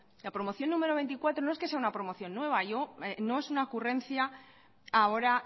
la promoción número veinticuatro no es que sea una promoción nueva yo no es una ocurrencia ahora